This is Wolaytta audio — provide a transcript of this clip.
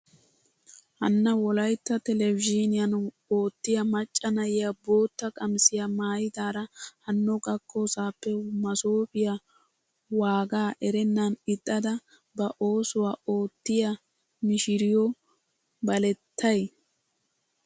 Hanna wolaytta telebizhiniyaan oottiyaa macca na'iyaa bootta qamisiyaa maayidaara hano gakkosaappe masoopiyaa waagaa erennan ixxada ba oosuwaa oottiyaa mishiriyoo balettay!